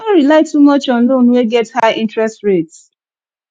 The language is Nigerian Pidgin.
no rely too much on loan wey get high interest rate